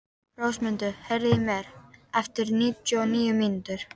Rósmundur, heyrðu í mér eftir níutíu og níu mínútur.